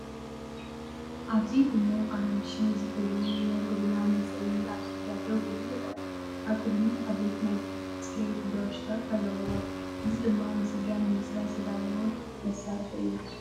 ኣብዚ ድሙቕ ኣራንሺ ዝሕብሩ ናይ ጎደና መጽረዪ ኣብ ጽርግያ ደው ኢሉ ይርአ። ኣብ ቅድሚት ዓበይቲ ናይ ጽሬት ብራሻታት ኣለዉዋ፡ እዚ ድማ ንጽርግያ ንምጽራይ ዝተዳለወ መሳርሒ እዩ።